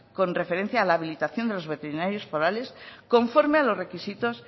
con referencia a la habilitación de los veterinarios forales conforme a los requisitos